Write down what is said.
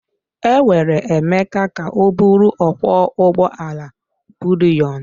Enwere Emeka ka ọ bụrụ ọkwọ ụgbọ ala buliyon.